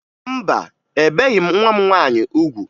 Mba, ebeghi m nwa m nwaanyị ugwu